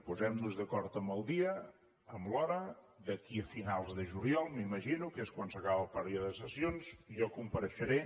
posem·nos d’acord amb el dia amb l’hora d’aquí a finals de juliol m’imagino que és quan s’acaba el període de sessions i jo com·pareixeré